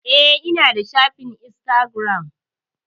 Eh ina da shafin instagiram